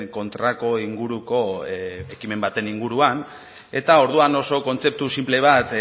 kontrako inguruko ekimen baten inguruan eta orduan oso kontzeptu sinple bat